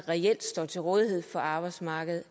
reelt står til rådighed for arbejdsmarkedet